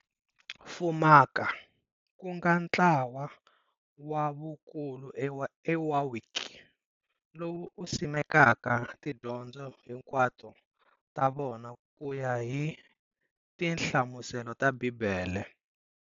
Fumaka, kunga ntlawa wa vakulu eWarwick, lowu simekaka tidyondzo hikwato ta vona kuya hi tinhlamuselo ta Bhibhele.